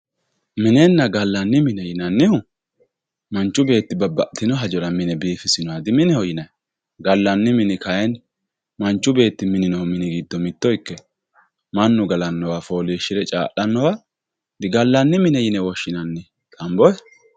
minenna gallanni mine yinannihu manchu beetti babbaxitino hajora mine biifisinoha dimineho yinayi gallanni mini kayiini manchu beetti minino mini gido mitto ikkino mannu galannowa foolishire caa'lanowa digallanni mine yine woshshinanni.